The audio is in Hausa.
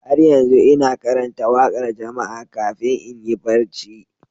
Har yanzu ina karanta waƙar jama'a kafin in yi barci.